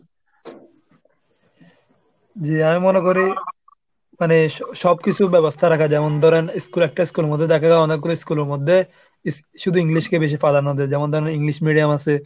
জি আমি মনে করি মানে সব~ সব কিছুর ব্যবস্থা রাখা। যেমন ধরেন schoolএ একটা school এর মধ্যে দেখা গেল অনেকগুলো school এর মধ্যে, ইস~ শুধু english কে বেশি প্রাধান্য দেয়। যেমন ধরেন english medium আসে,